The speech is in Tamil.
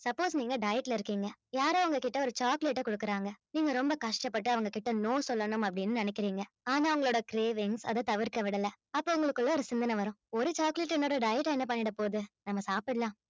suppose நீங்க diet ல இருக்கீங்க யாரோ உங்க கிட்ட ஒரு chocolate அ கொடுக்குறாங்க நீங்க ரொம்ப கஷ்டப்பட்டு அவங்க கிட்ட no சொல்லணும் அப்படீன்னு நினைக்கிறீங்க ஆனா அவங்களோட cravings அதைத் தவிர்க்க விடல அப்ப உங்களுக்குள்ள ஒரு சிந்தன வரும் ஒரு chocolate என்னோட diet ஆ என்ன பண்ணிடப் போகுது நம்ம சாப்பிடலாம்